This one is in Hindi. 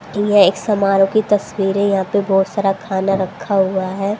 यह एक समारोह की तस्वीरे यहा पे बहोत सारा खाना रखा हुआ है।